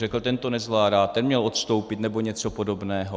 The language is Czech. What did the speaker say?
Řekl: ten to nezvládá, ten měl odstoupit, nebo něco podobného.